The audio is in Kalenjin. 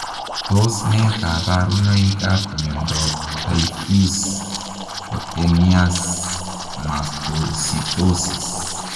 Tos ne kabarunoik ap miondoop taifuse kutenias Mastositosis?